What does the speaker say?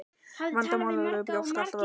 Vandamál með brjósk er alltaf erfitt.